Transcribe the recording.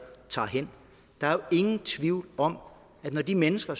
tager hen der er ingen tvivl om at når de mennesker